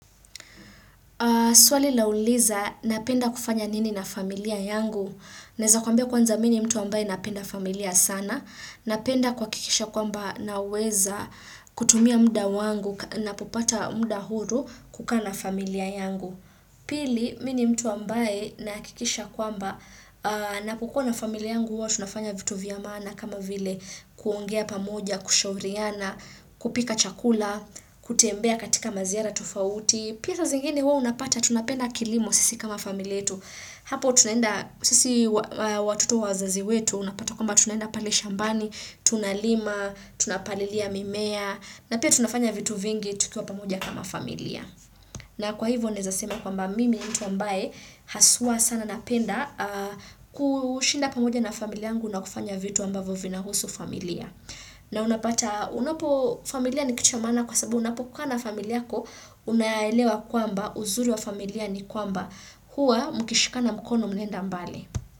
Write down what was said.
Swali lauliza napenda kufanya nini na familia yangu. Naweza kwambia kwanza mimi ni mtu ambaye napenda familia sana. Napenda kuhakikisha kwamba naweza kutumia muda wangu na popata muda huru kukaa na familia yangu. Pili, mimi ni mtu ambaye nahakikisha kwamba napokua familia yangu huwa tunafanya vitu vya maana kama vile kuongea pamoja, kushauriana, kupika chakula, kutembea katika maziara tofauti. Pia saa zingine huwa unapata tunapenda kilimo sisi kama familia yetu. Hapo tunaenda sisi watoto wazazi wetu unapata kwamba tunenda pale shambani, tunalima, tunapalilia mimea. Na pia tunafanya vitu vingi tukiwa pamoja kama familia. Na kwa hivo naweza sema kwamba mimi ni mtu ambaye haswa sana napenda kushinda pamoja na familia yangu na kufanya vitu ambavyo vina husu familia. Na unapata, unapo familia ni kitu ya mana kwa sababu unapokaa na familia yako unaelewa kwamba uzuri wa familia ni kwamba hua mkishikana mkono mnaenda mbali.